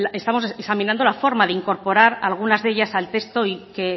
estamos examinando la forma de incorporar algunas de ellas al texto y que